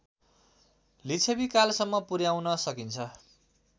लिच्छविकालसम्म पुर्‍याउन सकिन्छ